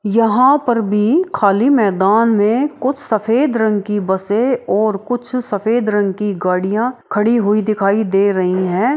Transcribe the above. यहाँ पर भी खाली मैदान मे कुछ सफ़ेद रंग की बसे और कुछ सफ़ेद रंग की गाड़ियां खड़ी हुई दिखाई दे रही है।